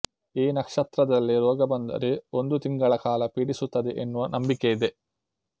ಈ ನಕ್ಷತ್ರದಲ್ಲಿ ರೋಗ ಬಂದರೆ ಒಂದು ತಿಂಗಳ ಕಾಲ ಪೀಡಿಸುತ್ತದೆ ಎನ್ನುವ ನಂಬಿಕೆಯಿದೆ